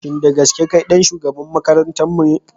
Shin da gaske kai ɗan shugaban makarantarmu ne?